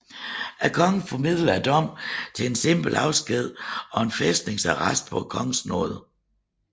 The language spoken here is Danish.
Kongen formildede dommen til simpel afsked og fæstningsarrest på kongens nåde